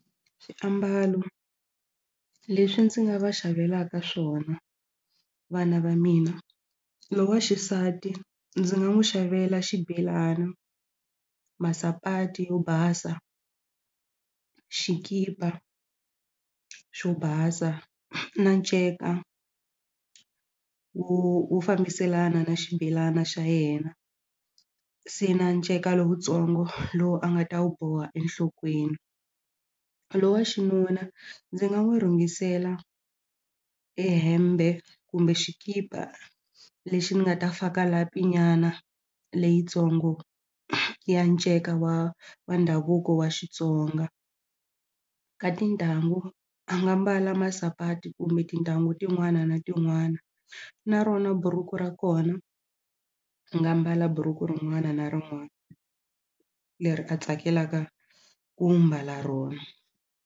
Swiambalo leswi ndzi nga va xavelaka swona vana va mina loyi wa xisati ndzi nga n'wu xavela xibelani masapati yo basa xikipa xo basa na nceka wu wu fambiselana na xibelana xa yena se na nceka lowutsongo lowu a nga ta wu boha enhlokweni lowu wa xinuna ndzi nga n'wu rhungisela e hembe kumbe xikipa lexi ni nga ta faka lapi nyana leyitsongo ya nceka wa wa ndhavuko wa Xitsonga ka tintangu a nga mbala masapati kumbe tintangu tin'wana na tin'wana na rona buruku ra kona a nga mbala buruku rin'wana na rin'wana leri a tsakelaka ku mbala rona.